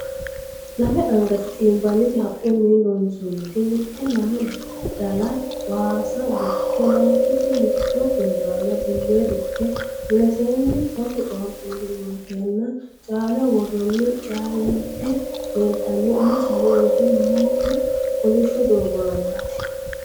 Lame angate xiinbanniti haqqunni loonsoonniti: Mitte lame dala waasa dukke laynkiti mitto kuntaala bullee dukke muleseenni sasu qaaquulli uurriteenna Caaleho woroonni caa'lite leeltanno insano uurrite noohu kolishsho doogo aanaati.